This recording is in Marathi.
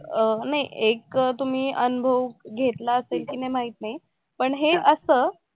अं नाही एक तुम्ही अनुभव घेतला असेल कि नाही माहित नाही पण हे असं